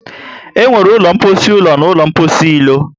E nwere ụlọ mposi ụlọ na ụlọ mposi ilo